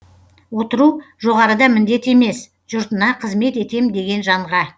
отыру жоғарыда міндет емес жұртына қызмет етем деген жанға